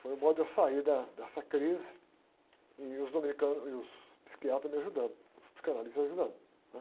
Foi o modo de eu sair da, dessa crise e os dominicanos, e os psiquiatras me ajudando, os psicanalistas ajudando.